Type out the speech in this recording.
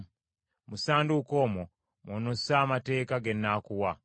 Mu ssanduuko omwo mw’onossa Amateeka ge nnaakuwa.